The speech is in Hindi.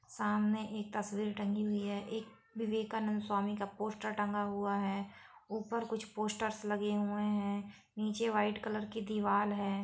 सामने एक तस्वीर टंगी हुई है एक विवेकानंद स्वामी का पोस्टर टंगा हुआ है ऊपर कुछ पोस्टर्स लगे हुआ है नीचे वाइट कलर की दिवाल है।